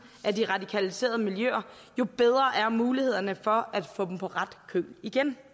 af de radikaliserede miljøer jo bedre er mulighederne for at få dem på ret køl igen